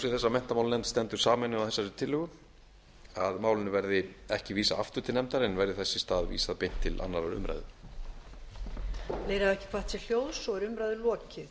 að menntamálanefnd stendur sameinuð að þessari tillögu að málinu verði ekki vísað aftur til nefndar en verði þess í stað vísað beint til annarrar umræðu